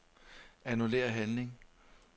Annullér handling.